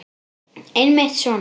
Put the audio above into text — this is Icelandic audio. Einmitt svona.